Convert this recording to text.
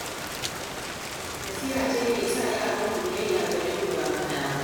Nasiha ce ke saka yaranku biyayya gare ku ba faɗa ba